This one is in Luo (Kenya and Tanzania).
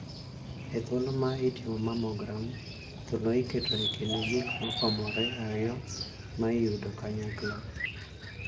E thuolo ma itimo 'mammogram', thuno iketo ekind gik gik mopamore ariyo ma idiyo kanyakla.